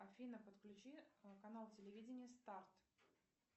афина подключи канал телевидения старт